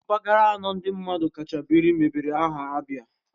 Mpaghara anọ ndị mmadụ kacha biri mebere aha ABIA